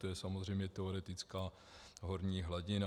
To je samozřejmě teoretická horní hladina.